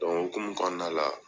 o hokumu kɔnɔna la